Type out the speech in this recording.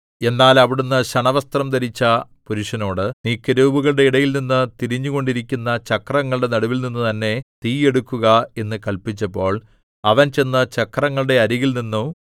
എന്നാൽ അവിടുന്ന് ശണവസ്ത്രം ധരിച്ച പുരുഷനോട് നീ കെരൂബുകളുടെ ഇടയിൽനിന്ന് തിരിഞ്ഞുകൊണ്ടിരിക്കുന്ന ചക്രങ്ങളുടെ നടുവിൽനിന്നു തന്നെ തീ എടുക്കുക എന്ന് കല്പിച്ചപ്പോൾ അവൻ ചെന്ന് ചക്രങ്ങളുടെ അരികിൽ നിന്നു